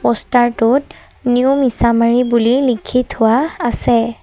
Poster টোত new মিচামাৰি বুলি লিখি থোৱা আছে।